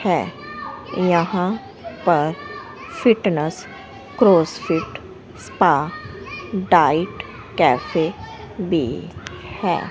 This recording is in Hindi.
है यहां पर fitness CrossFit spa diet cafe भी है।